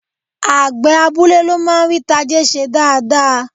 Àgbẹ̀ abúlé ló máa ń rí tajé ṣe dáadáa